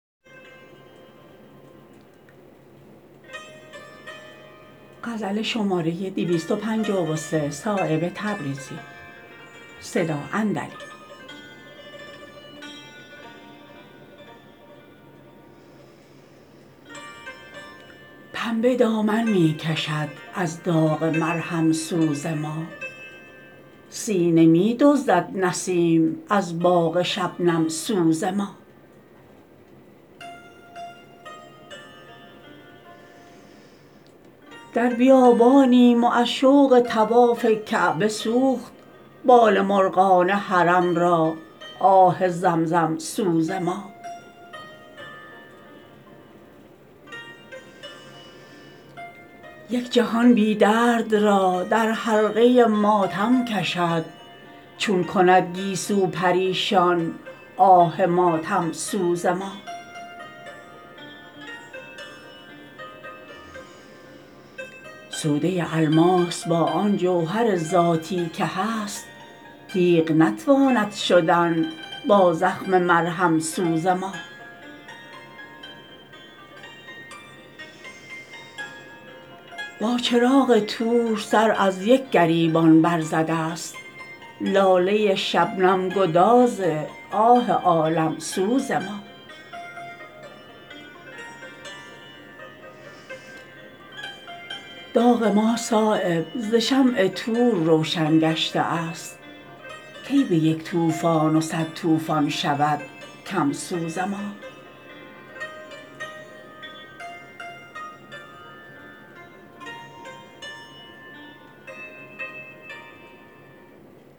پنبه دامن می کشد از داغ مرهم سوز ما سینه می دزدد نسیم از باغ شبنم سوز ما در بیابانیم و از شوق طواف کعبه سوخت بال مرغان حرم را آه زمزم سوز ما یک جهان بی درد را در حلقه ماتم کشد چون کند گیسو پریشان آه ماتم سوز ما سوده الماس با آن جوهر ذاتی که هست تیغ نتواند شدن با زخم مرهم سوز ما با چراغ طور سر از یک گریبان بر زده است لاله شبنم گداز آه عالم سوز ما داغ ما صایب ز شمع طور روشن گشته است کی به یک طوفان و صد طوفان شود کم سوز ما